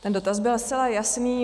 Ten dotaz byl zcela jasný.